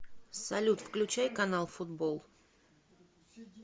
салют включай канал футбол